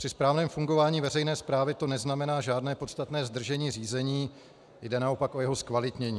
Při správném fungování veřejné správy to neznamená žádné podstatné zdržení řízení, jde naopak o jeho zkvalitnění.